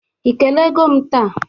Ị kelee goo m taa?